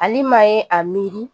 Alima ye a miiri